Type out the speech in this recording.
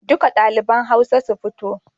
Duka ɗaliban Hausa su fito.